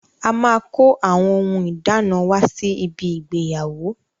A máa kó àwọn ohun ìdána wá sí ibi ìgbéyàwó.